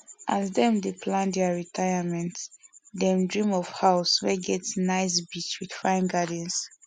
as them dey plan their retirement them dream of house wey get nice beach with fine gardens